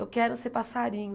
Eu quero ser passarinho.